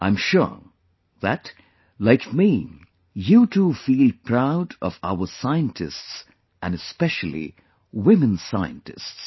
I am sure that, like me, you too feel proud of our scientists and especially women scientists